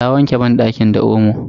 Ta wanke banɗakin da omo.